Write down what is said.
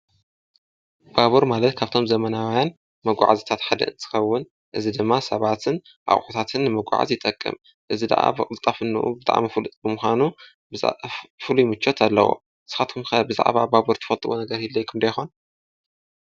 ባቡር ማለት ካብቶም ዘመናውያን መጕዓ ዘታት ሓድ እንትኸውን እዚ ድማ ሰባትን ኣቅሑታት ንመጕዓዝ ይጠቅም። እዚ ደኣ ብቕልጣፍኑ ብጣዕሚ ፍሉጥ ብምዃኑ ፍሉይ ሙቾት ኣለዎ። ንስኻትኩም ከ ብዛዕባ ባቡር ትፈጥዎ ነገር ይህልዎኩም ዶ ይከውን?